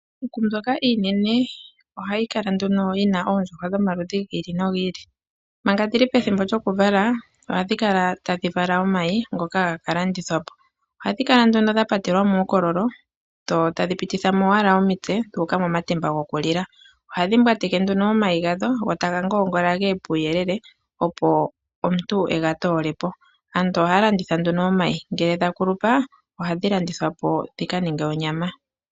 Iikuku mbyoka iinene ohayi kala nduno yi na oondjuhwa dhomaludhi gi ili nogi ili. Manga dhi li pethimbo lyokuvala ohadhi kala tadhi vala omayi ngoka haga ka landithwa po. Ohadhi kala nduno dha patelwa muukololo dho tadhi pititha mo owala omitse dhu uka momatemba gokulila. Ohadhi mbwateke nduno omayi gadho go taga ngoongola ge ye puuyelele, opo omuntu e ga toole po. Aantu ohaya landitha nduno omayi. Ngele dha kulupa ohadhi landithwa po dhi ka ninge onyama.